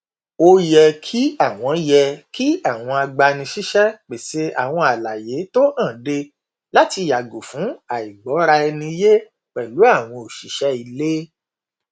ó yẹ kí àwọn yẹ kí àwọn agbanisíṣẹ pèsè àwọn àlàyé tó hànde láti yàgò fún àìgbọraẹniyé pẹlú àwọn òṣìṣẹ ilé